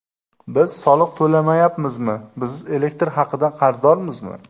Biz soliq to‘lamayapmizmi, biz elektr haqidan qarzdormizmi?